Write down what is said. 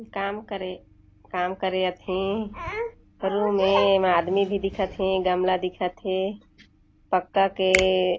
काम करे काम करे अहे रूम में एक आदमी भी दिखत हे गमला दिखत हे पक्का के--